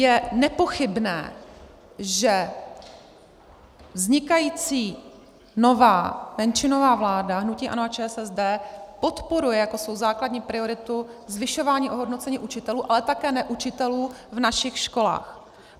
Je nepochybné, že vznikající nová menšinová vláda hnutí ANO a ČSSD podporuje jako svou základní prioritu zvyšování ohodnocení učitelů, ale také neučitelů v našich školách.